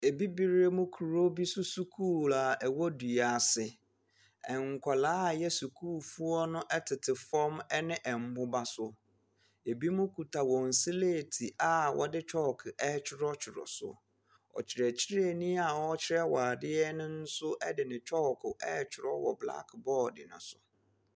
Abibire mu kuro bi so sukuu a ɛwɔ duase, ɛnkɔlaa a ɛyɛ sukuufoɔ no ɛtete fɔm ɛne ɛmboba so. Ebimo kuta wɔn sleeti a wɔde kyɔk ɛɛtwerɛtwerɛ so. Ɔkyerɛkyerɛni a ɔɔkyerɛ wɔn adeɛ no nso ɛde ne kyɔɔko ɛɛtwerɛ wɔ blak bɔɔd no so.